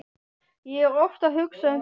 Ég er oft að hugsa um það.